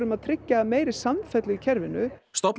að tryggja meiri samfellu í kerfinu stofnun